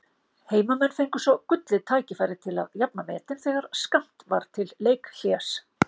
Heimamenn fengu svo gullið tækifæri til að jafna metin þegar skammt var til leikhlés.